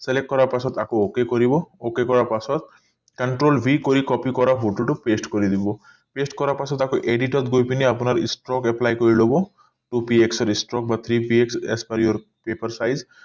select কৰাৰ পাছত আকৌ ok কৰিব ok কৰাৰ পাছত control v কৰি copy কৰা photo টো paste কৰি দিব paste কৰা পাছত আকৌ edit গৈ পিনি আপোনাৰ apply কৰি লব